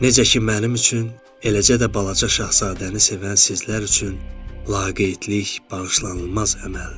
Necə ki mənim üçün, eləcə də balaca şahzadəni sevən sizlər üçün laqeydlik bağışlanılmaz əməldir.